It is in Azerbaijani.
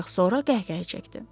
ancaq sonra qəhqəhə çəkdi.